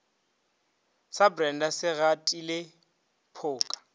sa brenda se gatile phoka